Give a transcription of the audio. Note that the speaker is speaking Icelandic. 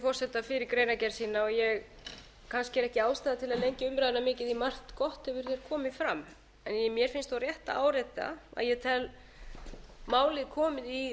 lengja umræðuna mikið því að margt gott hefur komið hér fram en mér finnst þó rétt að árétta að ég tel málið komið í